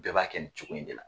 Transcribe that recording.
Bɛɛ b'a kɛ nin cogo in de la.